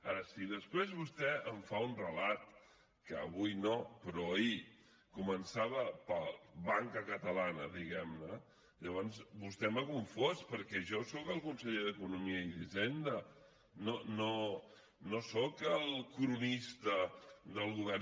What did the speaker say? ara si després vostè em fa un relat que avui no però ahir començava per banca catalana diguem ne llavors vostè m’ha confós perquè jo soc el conseller d’economia i hisenda no soc el cronista del govern